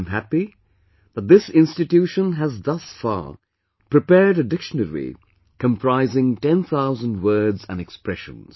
I am happy that this institution has thus far prepared a dictionary comprising ten thousand words and expressions